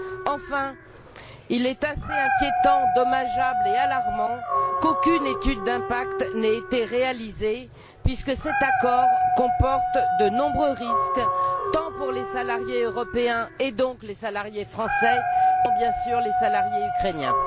Enfin, il est assez inquiétant, dommageable et alarmant qu'aucune étude d'impact n'ait été réalisée puisque cet accord comporte de nombreux risques, tant pour les salariés européens, et donc les salariés français, que bien sûr pour les salariés ukrainiens.